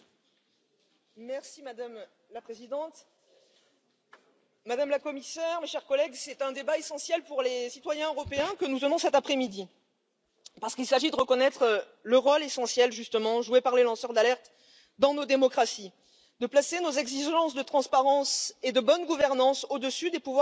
Madame la Présidente, Madame la Commissaire, mes chers collègues, c'est un débat essentiel pour les citoyens européens que nous avons cet après midi, parce qu'il s'agit de reconnaître le rôle essentiel que jouent les lanceurs d'alerte dans nos démocraties, de placer nos exigences de transparence et de bonne gouvernance au dessus des pouvoirs économiques et financiers